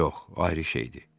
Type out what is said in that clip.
Yox, ayrı şeydir.